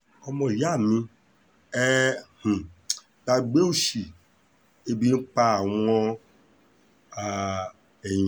ọmọ ìyá mi ẹ́ um gbàgbé òsì ebi ń pa àwọn um èèyàn